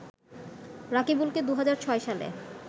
রাকিবুলকে ২০০৬ সালে